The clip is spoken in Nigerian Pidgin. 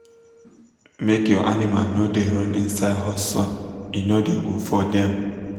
make your animal no da run inside hot sun e no good for dem